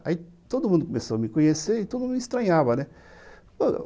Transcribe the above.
Aí todo mundo começou a me conhecer e todo mundo me estranhava, né.